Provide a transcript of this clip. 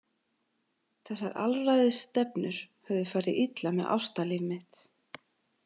Þessar alræðisstefnur höfðu farið illa með ástalíf mitt.